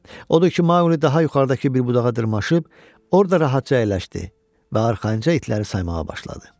Odur ki, Maquli daha yuxarıdakı bir budağa dırmaşıb, orda rahatca əyləşdi və arxayınca itləri saymağa başladı.